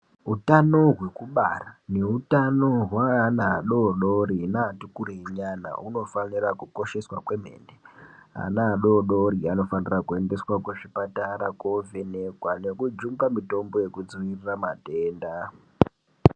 Utano hwekubara neutano hweana adoodoro neati kurei zviyani hunofanira kukosheswa kwemene. Ana adoodori anofanira kuendeswa kuzvipatara koovhenekwa nekujungwa mitombo yekudzivirira matenda.